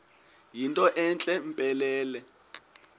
yinto entle mpelele